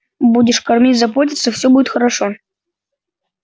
будешь кормить заботиться все будет хорошо